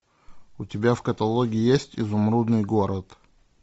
у тебя в каталоге есть изумрудный город